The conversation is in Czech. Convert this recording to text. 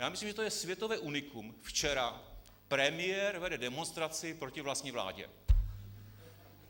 Já myslím, že to je světové unikum - včera premiér vede demonstraci proti vlastní vládě.